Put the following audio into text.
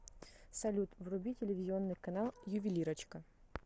салют вруби телевизионный канал ювелирочка